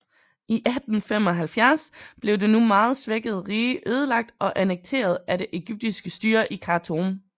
I 1875 blev det nu meget svækkede rige ødelagt og annekteret af det egyptiske styre i Khartoum